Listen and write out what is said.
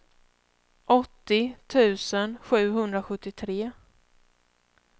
åttio tusen sjuhundrasjuttiotre